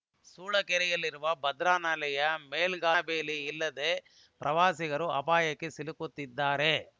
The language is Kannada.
ಸೂಳೆಕೆರೆಯಲ್ಲಿರುವ ಭದ್ರಾನಾಲೆಯ ಮೇಲ್ಗಾಲುವೆ ಮೇಲೆ ರಕ್ಷಣಾ ಬೇಲಿ ಇಲ್ಲದೆ ಪ್ರವಾಸಿಗರು ಅಪಾಯಕ್ಕೆ ಸಿಲುಕುತ್ತಿದ್ದಾರೆ